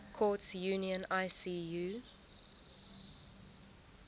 courts union icu